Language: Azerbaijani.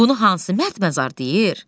Bunu hansı mərdməzar deyir?